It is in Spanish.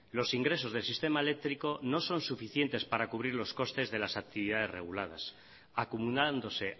los ingresos del sistema eléctrico no son suficientes para cubrir los costes de las actividades reguladas acumulándose